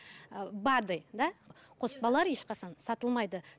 ы бад ы да қоспалар ешқашан сатылмайды